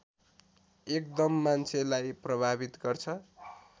एकदम मान्छेलाई प्रभावित गर्छ